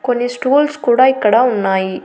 కొన్ని స్టూల్స్ కూడా ఇక్కడ ఉన్నాయి.